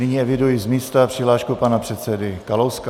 Nyní eviduji z místa přihlášku pana předsedy Kalouska.